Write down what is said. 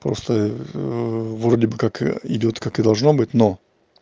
просто вроде бы как идёт как и должно быть но